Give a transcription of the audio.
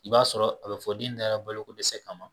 I b'a sɔrɔ a bi fɔ den dara bolo ko dɛsɛ kama